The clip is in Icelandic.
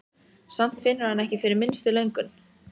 Samt finnur hann ekki fyrir minnstu löngun.